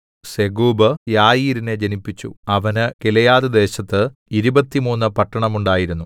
സെഗൂബ് യായീരിനെ ജനിപ്പിച്ചു അവന് ഗിലെയാദ്‌ദേശത്ത് ഇരുപത്തിമൂന്ന് പട്ടണം ഉണ്ടായിരുന്നു